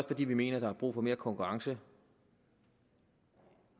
fordi vi mener der er brug for mere konkurrence